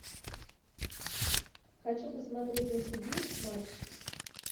хочу посмотреть на тв матч